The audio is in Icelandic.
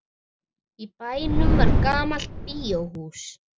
Í bænum var gamalt bíóhús.